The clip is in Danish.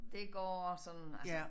Det går sådan altså